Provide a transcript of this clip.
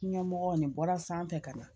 Ɲɛmɔgɔ nin bɔra sanfɛ ka na